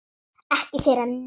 Ekki fyrr en núna.